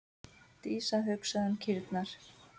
Dísa hugsaði um kýrnar.